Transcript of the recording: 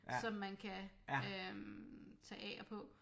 Som man kan øh tage af og på